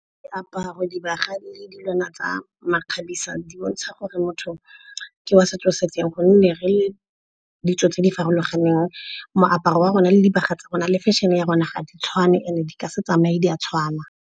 Diaparo, dibaga le dilwana tsa makgabisa di bontsha gore motho ke wa setso se feng. Gonne re le ditso tse di farologaneng moaparo wa rona, le dibaga tsa rona, le fashion-e ya rona ga di tshwane and di ka se tsamaye di a tshwana.